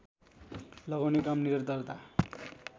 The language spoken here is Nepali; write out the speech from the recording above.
लगाउने काम निरन्तरता